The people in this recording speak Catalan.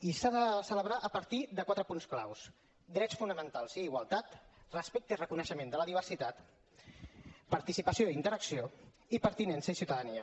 i s’ha de celebrar a partir de quatre punts clau drets fonamentals i igualtat respecte i reconeixement de la diversitat participació i interacció i pertinença i ciutadania